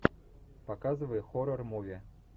показывай хоррор муви